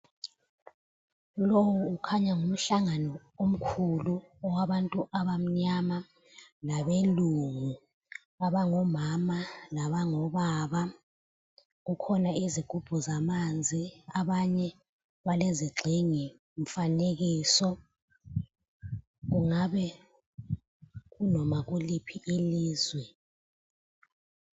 Lowu ukhanya ngumhlangano omkhulu owabantu abamnyama labelungu, abangomama labango baba. Kukhona izigubhu zamanzi, abanye balezigxingi zemifanekiso , kungabe ku noma kuliphi ilizwe.